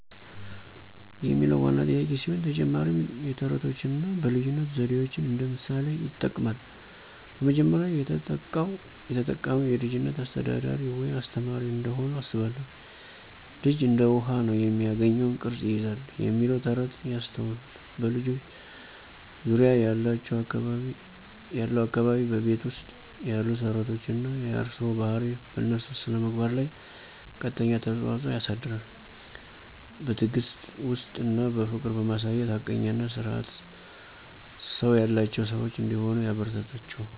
የሚለው ዋና ጥያቄ ሲሆን፣ ተጨማሪም የተረቶችን አና በልይነት ዘዴዎችን እንደ ምሣሌ ይጥቅማል። በመጀመሪያ፣ የተጠቃው የተጠቃሚዉ የልጅች አሰተዳደር ወይም አስተማሪ እንደሆኑ አስባለሁን። ልጅ እንደ ዉሀ። ነው፤ የሚገኘውን ቅረጽ ይይዛል "የሚለው ተረት ያስታወሱት "በልጆች ዙርያ ያለው አካባቢ፣ በቤት ዉስጥ ያሉ ስረዓቶች አና የእርሰዋ ባሀሪ በእነሱ ስነምግባር ለይ ቀጥተኛ ተጽዕኖ ያሳድራሉ። በትዕግስት፣ ዉስጥት አና ፍቅር በማሳየት ሀቀኛ አና ስርአት ሰው ያላቸው ሰዋች እንደሆሂ ያበረታታችዉ።